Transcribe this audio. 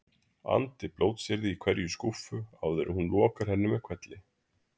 andi blótsyrði í hverja skúffu áður en hún lokar henni með hvelli.